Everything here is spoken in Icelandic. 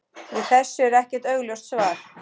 Við þessu er ekkert augljóst svar.